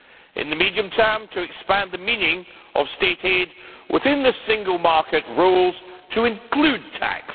in the medium term, to expand the meaning of State aid within the single market rules to include tax